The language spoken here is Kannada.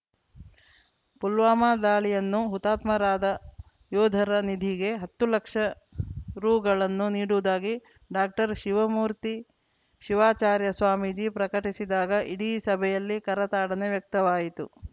ಪುಲ್ವಾಮಾ ದಾಳಿಯನ್ನು ಹುತಾತ್ಮರಾದ ಯೋಧರ ನಿಧಿಗೆ ಹತ್ತು ಲಕ್ಷ ರುಗಳನ್ನು ನೀಡುವುದಾಗಿ ಡಾಕ್ಟರ್ ಶಿವಮೂರ್ತಿ ಶಿವಾಚಾರ್ಯ ಸ್ವಾಮೀಜಿ ಪ್ರಕಟಿಸಿದಾಗ ಇಡೀ ಸಭೆಯಲ್ಲಿ ಕರತಾಡನ ವ್ಯಕ್ತವಾಯಿತು